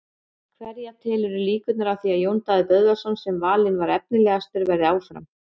Hverja telurðu líkurnar á því að Jón Daði Böðvarsson sem valinn var efnilegastur verði áfram?